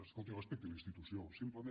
escolti respecti la institució simplement